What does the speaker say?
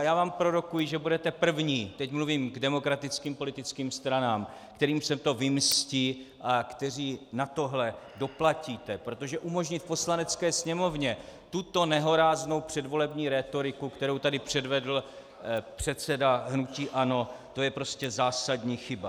A já vám prorokuji, že budete první, teď mluvím k demokratickým politickým stranám, kterým se to vymstí a kteří na toto doplatíte, protože umožnit v Poslanecké sněmovně tuto nehoráznou předvolební rétoriku, kterou tady předvedl předseda hnutí ANO, to je prostě zásadní chyba.